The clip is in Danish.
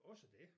Også dét